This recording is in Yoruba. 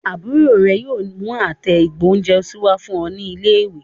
Àbúrò rẹ yóò mú àtẹ ìgbóhúnjẹsí wá fún ẹ ní ilé ìwé